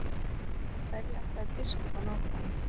Hverju ætlaði biskup að ná fram?